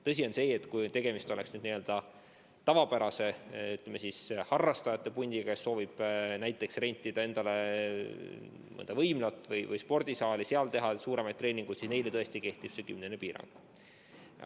Tõsi on see, et kui tegemist on n-ö tavapärase harrastajate pundiga, kes soovib rentida endale mõnda võimlat või spordisaali, seal teha suuremaid treeningud, siis neile tõesti kehtib see kümnene piirang.